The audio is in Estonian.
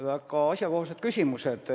Väga asjakohased küsimused.